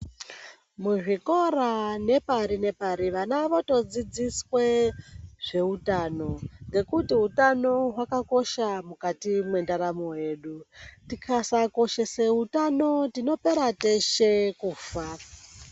Muzvikora nepari-nepari, vana votodzidziswe zveutano. Ngekuti utano hwakakosha mukati mwendaramo yedu. Tikasakoshese utano tinopera teshe kufa.